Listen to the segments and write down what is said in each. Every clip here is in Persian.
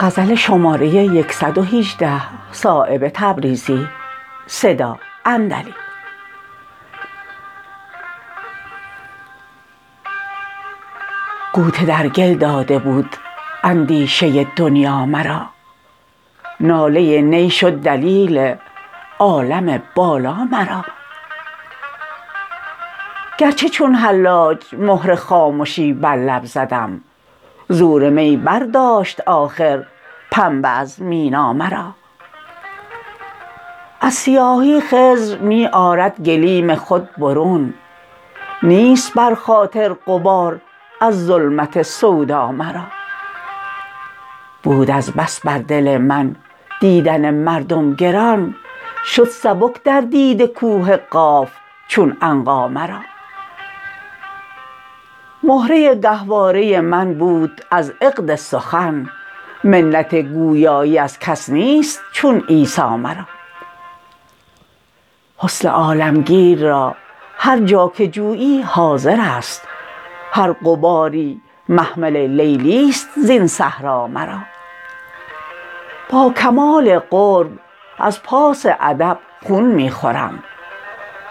غوطه در گل داده بود اندیشه دنیا مرا ناله نی شد دلیل عالم بالا مرا گر چه چون حلاج مهر خامشی بر لب زدم زور می برداشت آخر پنبه از مینا مرا از سیاهی خضر می آرد گلیم خود برون نیست بر خاطر غبار از ظلمت سودا مرا بود از بس بر دل من دیدن مردم گران شد سبک در دیده کوه قاف چون عنقا مرا مهره گهواره من بود از عقد سخن منت گویایی از کس نیست چون عیسیٰ مرا حسن عالمگیر را هرجا که جویی حاضرست هر غباری محمل لیلی است زین صحرا مرا با کمال قرب از پاس ادب خون می خورم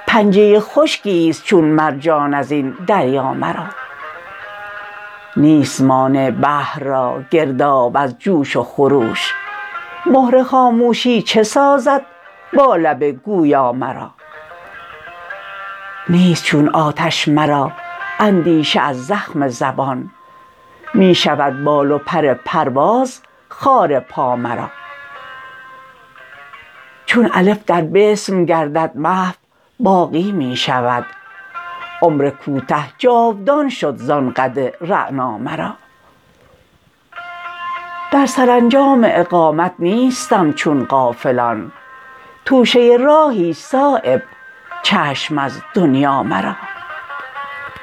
پنجه خشکی است چون مرجان از این دریا مرا نیست مانع بحر را گرداب از جوش و خروش مهر خاموشی چه سازد با لب گویا مرا نیست چون آتش مرا اندیشه از زخم زبان می شود بال و پر پرواز خار پا مرا چون الف در بسم گردد محو باقی می شود عمر کوته جاودان شد زان قد رعنا مرا در سرانجام اقامت نیستم چون غافلان توشه راهی است صایب چشم از دنیا مرا